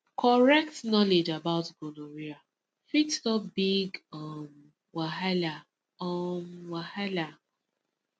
correct knowledge about gonorrhea fit stop big um wahala um wahala